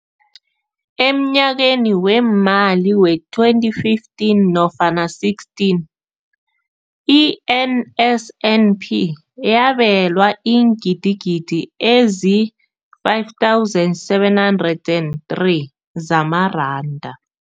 Emnyakeni weemali we-2015 nofana 16, i-NSNP yabelwa iingidigidi ezi-5 703 zamaranda.